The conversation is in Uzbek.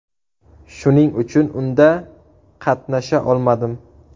Shuning uchun unda qatnasha olmadim.